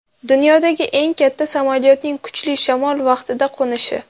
Dunyodagi eng katta samolyotning kuchli shamol vaqtida qo‘nishi.